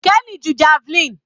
Kenny ju javelin.